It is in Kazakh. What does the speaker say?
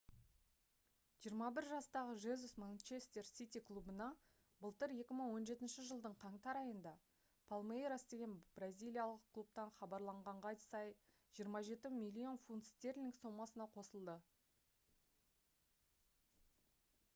21 жастағы жезус манчестер сити клубына былтыр 2017 жылдың қаңтар айында палмейрас деген бразилиялық клубтан хабарланғанға сай 27 миллион фунт стерлинг сомасына қосылды